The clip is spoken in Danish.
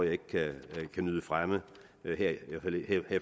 ikke kan nyde fremme her i